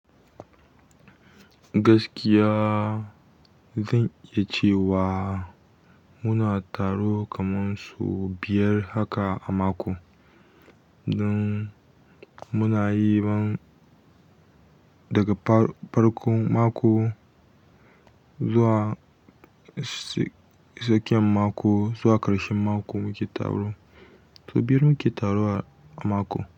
Gaskiya zan iya cewa muna taro kamar sau biyar haka a mako. Don muna yi man daga farkon mako zuwa tsakiyan mako zuwa ƙarshen mako muke taro. Sau biyar muke taro a mako.